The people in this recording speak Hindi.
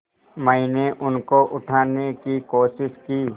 मैंने उनको उठाने की कोशिश की